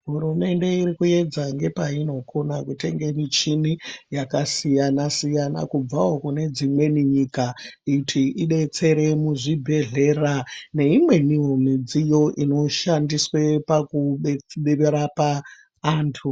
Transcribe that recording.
Hurumende iri kupedza nepainokona kutenge michini yakasiyana siyana kubvawo kune dzimweni nyika kuti idetsere munyika neimweniwo midziyo inoshandiswa pakurape antu.